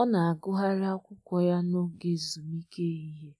Ọ na agụgharị akwụkwọ ya na oge ezumike ehihie,